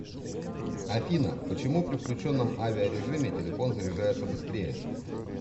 афина почему при включенном авиарежиме телефон заряжается быстрее